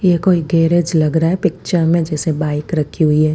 यह कोई गेरेज लग रहा है पिक्चर में जैसे बाइक रखी हुई है।